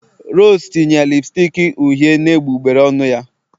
Rose tinye lipstick uhie na egbugbere ọnụ ya